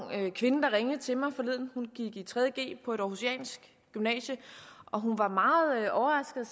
kvinde der ringede til mig forleden hun gik i tredje g på et århusiansk gymnasium og hun var meget overrasket